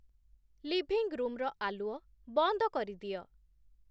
Living ରୁମ୍‌ର ଆଲୁଅ ବନ୍ଦ କରିଦିଅ।